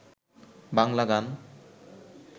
বাংলা গান